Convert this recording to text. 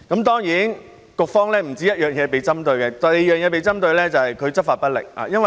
當然局方不單被針對這事宜，第二件事便是局方執法不力。